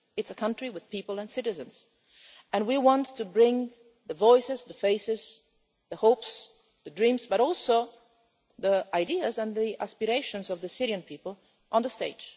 It is a country with people and citizens, and we want to bring the voices, the faces, the hopes, the dreams, but also the ideas and the aspirations of the Syrian people to the